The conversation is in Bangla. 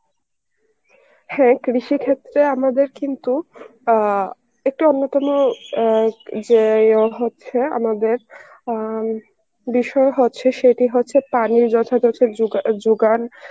হ্যাঁ কৃষি ক্ষেত্রে আমাদের কিন্তু অ্যাঁ একটু অন্য কোন অ্যাঁ যে ইয়ে হচ্ছে আমাদের অ্যাঁ বিষয় হচ্ছে সেটি হচ্ছে পানির যথাযথ যোগা~ যোগান